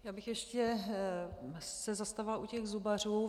Já bych se ještě zastavila u těch zubařů.